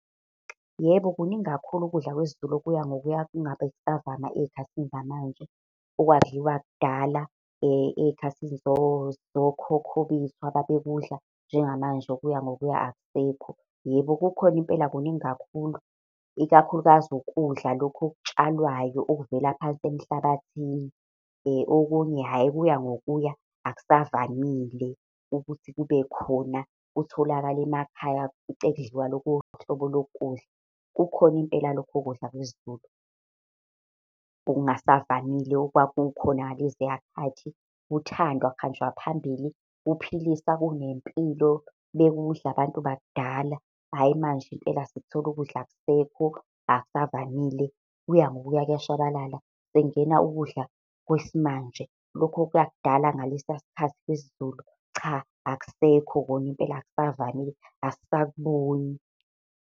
Yebo kuningi kakhulu ukudla kwesiZulu okuya ngokuya kungabe kusavama ey'khathini zamanje. Okwakudliwa kudala ey'khathini zokhokho bethu ababekudla njengamanje, okuya ngokuya akusekho. Yebo kukhona impela kuningi kakhulu, ikakhulukazi ukudla lokhu okutshalwayo okuvela phansi emhlabathini. Okunye hhayi, kuya ngokuya akusavamile ukuthi kubekhona kutholakala emakhaya ufice kudliwa lolu hlobo lokudla. Kukhona impela lokho kudla kwesiZulu okungasavamile okwakukhona ngaleziya khathi, kuthandwa kuhanjwa phambili, kuphilisa, kunempilo, bekudla abantu bakudala. Hhayi manje impela sikuthola ukudla akusekho, akusavamile, kuya ngokuya kuyashabalala, sekungena ukudla kwesimanje, lokhu kwakudala ngalesiya sikhathi sesiZulu cha akusekho khona impela akusavamile, asisakuboni.